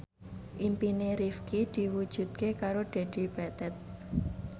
impine Rifqi diwujudke karo Dedi Petet